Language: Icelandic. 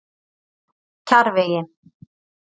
Kjarrvegi